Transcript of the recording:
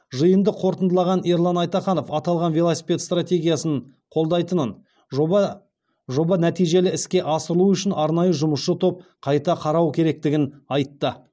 жиынды қорытындылаған ерлан айтаханов аталған велосипед стратегиясын қолдайтынын жоба нәтижелі іске асырылу үшін арнайы жұмысшы топ қайта қарау керектігін айтты